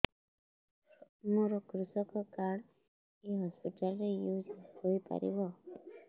ମୋର କୃଷକ କାର୍ଡ ଏ ହସପିଟାଲ ରେ ୟୁଜ଼ ହୋଇପାରିବ